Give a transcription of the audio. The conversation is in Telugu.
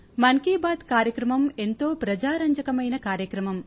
మన్ కీ బాత్ కార్యక్రమం ఎంతో ప్రజారంజకమైన కార్యక్రమం